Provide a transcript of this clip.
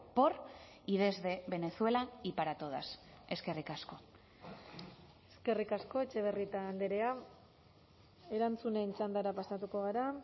por y desde venezuela y para todas eskerrik asko eskerrik asko etxebarrieta andrea erantzunen txandara pasatuko gara